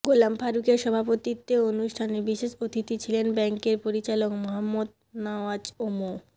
গোলাম ফারুকের সভাপতিত্বে অনুষ্ঠানে বিশেষ অতিথি ছিলেন ব্যাংকের পরিচালক মোহাম্মদ নাওয়াজ ও মো